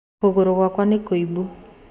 Kũgũrũ gwaku nĩ kũimbu